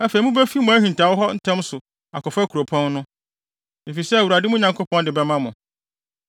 Afei mubefi mo ahintawee hɔ ntɛm so akɔfa kuropɔn no, efisɛ Awurade, mo Nyankopɔn de bɛma mo.